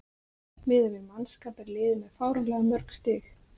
Miðað við mannskap er liðið með fáránlega mörg stig.